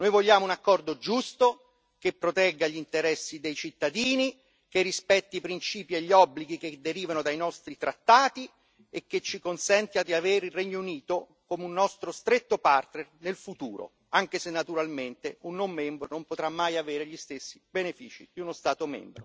Noi vogliamo un accordo giusto, che protegga gli interessi dei cittadini, che rispetti i principi e gli obblighi che derivano dai nostri trattati e che ci consenta di avere il Regno Unito come un nostro stretto partner nel futuro, anche se naturalmente un non membro non potrà mai avere gli stessi benefici di uno Stato